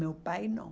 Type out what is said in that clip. Meu pai não.